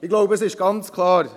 Ich glaube, es ist ganz klar: